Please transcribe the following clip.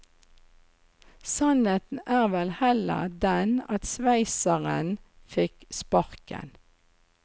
Sannheten er vel heller den at sveitseren fikk sparken.